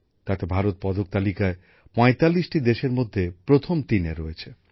তাতে ভারত পদক তালিকায় ৪৫টি দেশের মধ্যে প্রথম তিনে রয়েছে